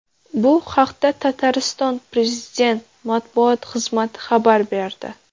Bu haqda Tatariston prezident matbuot xizmati xabar berdi .